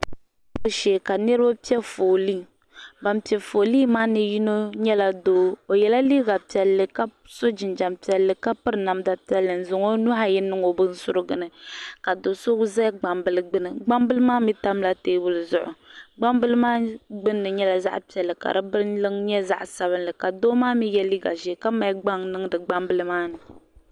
piibu piibu shee ka niraba piɛ foolii ban piɛ foolii maa ni yino nyɛla doo o yɛla liiga piɛlli ka so jinjɛm piɛlli ka piri namda piɛlli n zaŋ o nuhi ayi niŋ o binsurugu ni ka do so ʒɛ gbambili gbuni gbambili maa mii tamla teebuli zuɣu gbambili maa gbunni nyɛla zaɣ piɛlli ka di binliŋ nyɛ zaɣ sabinli ka doo maa mii yɛ liiga ʒiɛ ka mali gbaŋ niŋdi gbambili maa ni